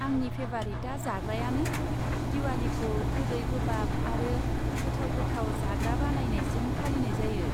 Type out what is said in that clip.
आंनि फेभारिटआ जाग्रायानो। दिवालीखौ गोदै गोबाब आरो गोथाव गोथाव जाग्रा बानायनायजों फालिनाय जायो।